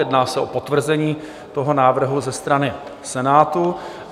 Jedná se o potvrzení toho návrhu ze strany Senátu.